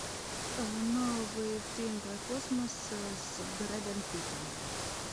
новый фильм про космос с брэдом питтом